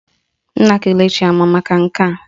Nna Kelechi ama maka nke a?